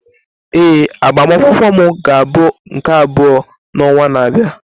Ee, agbamakwụkwọ m ga-abụ nke abụọ n'ọnwa na-abịa.